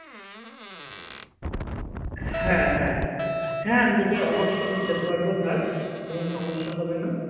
হ্যাঁ হ্যাঁ হ্যাঁ আমি তোকে অবশ্যই দিতে পারবো ধার কোনো সমস্যা হবে না